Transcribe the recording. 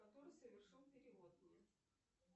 который совершил перевод мне